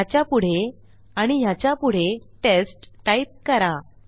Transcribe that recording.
ह्याच्यापुढे आणि ह्याच्यापुढे टेस्ट टाईप करा